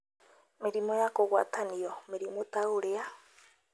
Mĩrimũ ya kũgwatanio: Mĩrimũ ta ũrĩa: